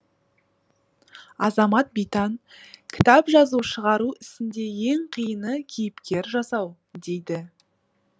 азамат битан кітап жазу шығару ісінде ең қиыны кейіпкер жасау дейді